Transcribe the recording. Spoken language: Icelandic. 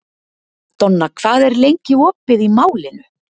Donna, hvað er lengi opið í Málinu?